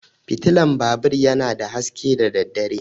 Fitulan babur yana da haske da daddare.